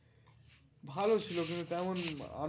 ভালো ছিলো কিন্তু তেমন আম